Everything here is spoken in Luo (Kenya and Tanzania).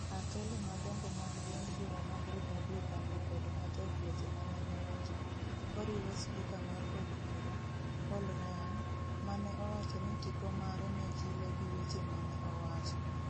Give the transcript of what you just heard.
Atelo madongo mag duond bura mar Republican okwedo matek weche mane owacho, koriwo spika mar Od bura, Paul Ryan, mane owacho ni tipo mare ne chilo gi weche ma ne owacho.